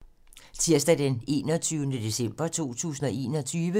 Tirsdag d. 21. december 2021